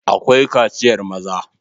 Akwai kaciyar maza..